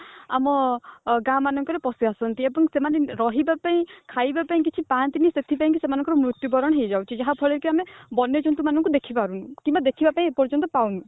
ଆମ ଗାଁ ମାନଙ୍କରେ ପଶିଆସୁଛନ୍ତି ଏବଂ ସେମାନେ ରହିବା ପାଇଁ ଖାଇବା ପାଇଁ କିଛି ପାଆନ୍ତି ନାହିଁ ସେଥିପାଇଁ କି ସେମାନଙ୍କର ମୃତ୍ୟୁ ବରଣ ହେଇଯାଉଛି ଯାହା ଫଳରେ କି ଆମେ ବନ୍ୟ ଜନ୍ତୁ ମାନଙ୍କୁ ଦେଖିପାରୁନୁ କିମ୍ବା ଦେଖିବା ପାଇଁ ଏ ପର୍ଯ୍ୟନ୍ତ ପାଉନୁ